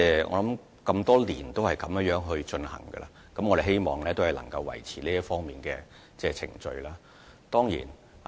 我們多年來一直按這方式行事，亦希望能夠維持這方面的程序。